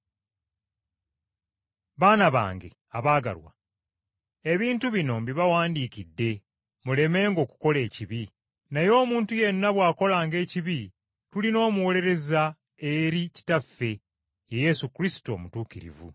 Baana bange abaagalwa, ebintu bino mbibawandiikidde mulemenga okukola ekibi. Naye omuntu yenna bw’akolanga ekibi tulina omuwolereza eri Kitaffe, ye Yesu Kristo Omutuukirivu.